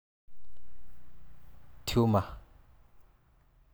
Tumor.